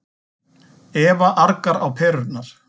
Eva argar á perurnar.